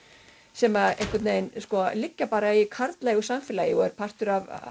sem einhvern veginn liggja bara í karllægu samfélagi og er partur af